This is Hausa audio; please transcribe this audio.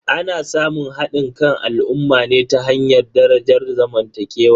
Ana samun hadin kan al'ummar ne ta hanyar darajar zamantakewa.